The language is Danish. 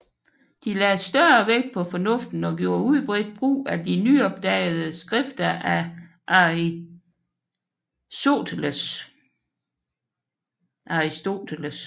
De lagde større vægt på fornuften og gjorde udbredt brugt af de nyopdagede skrifter a Arisoteles